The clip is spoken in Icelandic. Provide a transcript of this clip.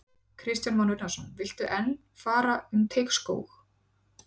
Kristján Már Unnarsson: Viltu enn fara um Teigsskóg?